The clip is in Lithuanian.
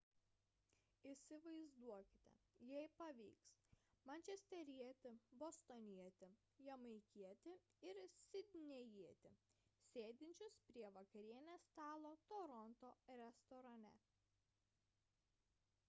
įsivaizduokite jei pavyks mančesterietį bostonietį jamaikietį ir sidnėjietį sėdinčius prie vakarienės stalo toronto restorane